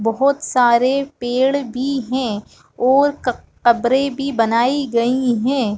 बोहत सारे पेड़ भी है और क कब्रे भी बनाई गई है ।